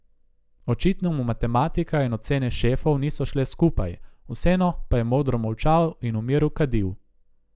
Očitno mu matematika in ocene šefov niso šle skupaj, vseeno pa je modro molčal in v miru kadil.